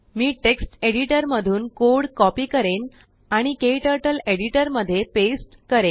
मी text editor मधून code copy करेन आणिKTurtleएडिटरमध्ये पेस्ट करेन